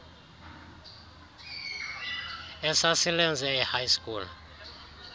esasilenze ehigh school